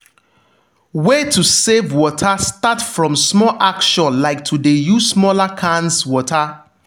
way to save water start from small action like to de use smaller cans water.